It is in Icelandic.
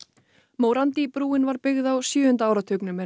morandi brúin var byggð á sjöunda áratugnum en